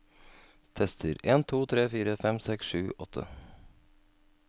Tester en to tre fire fem seks sju åtte